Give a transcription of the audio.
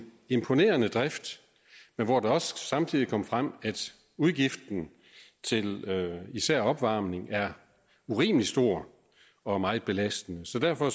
imponerende drift men hvor det også samtidig kom frem at udgiften til især opvarmning er urimelig stor og meget belastende så derfor